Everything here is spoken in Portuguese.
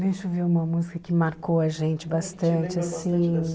Deixa eu ver uma música que marcou a gente bastante, assim.